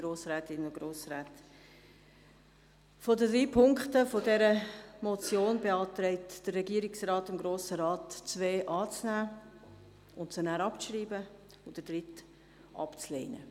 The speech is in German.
Von den drei Punkten dieser Motion beantragt der Regierungsrat Ihnen, die ersten beiden anzunehmen und abzuschreiben und den dritten abzulehnen.